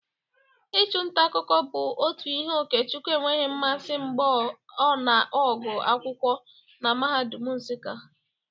Ịchụ nta akụkọ bụ otu ihe Okechukwu enweghị mmasị mgba ọna agụ akwụkwọ na mahadum Nsụka.